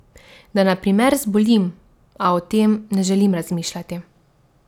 Da na primer zbolim, a o tem ne želim razmišljati.